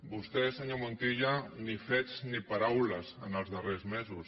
vostè senyor montilla ni fets ni paraules en els darrers mesos